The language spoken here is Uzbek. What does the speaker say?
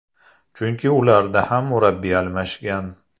Chunki ularda ham murabbiy almashgan.